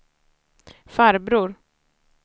farbror